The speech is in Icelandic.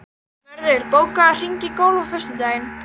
Mörður, bókaðu hring í golf á föstudaginn.